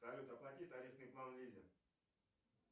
салют оплати тарифный план лизе